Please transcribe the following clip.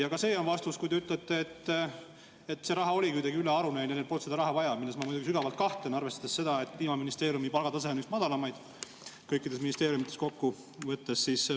Ja ka see on vastus, kui te ütlete, et see raha oligi kuidagi ülearune, neil polnud seda raha vaja, milles ma muidugi sügavalt kahtlen, arvestades seda, et Kliimaministeeriumi palgatase on üks madalamaid kõikidest ministeeriumidest.